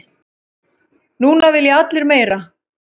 Núna vilja allir meira.